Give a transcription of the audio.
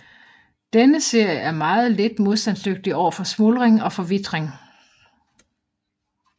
Denne serie er meget lidt modstandsdygtigt overfor smuldring og forvitring